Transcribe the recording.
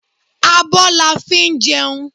Abo la fi ń jẹun